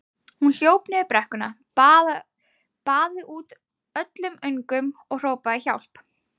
Hún hljóp niður brekkuna, baðaði út öllum öngum og hrópaði: Hjálp!